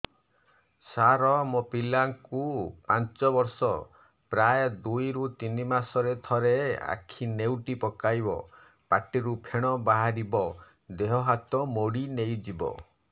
ସାର ମୋ ପିଲା କୁ ପାଞ୍ଚ ବର୍ଷ ପ୍ରାୟ ଦୁଇରୁ ତିନି ମାସ ରେ ଥରେ ଆଖି ନେଉଟି ପକାଇବ ପାଟିରୁ ଫେଣ ବାହାରିବ ଦେହ ହାତ ମୋଡି ନେଇଯିବ